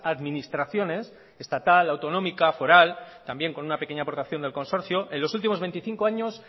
administraciones estatal autonómica foral también con una pequeña aportación del consorcio en los últimos veinticinco años